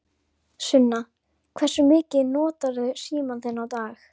Sunna: Hversu mikið notarðu símann þinn á dag?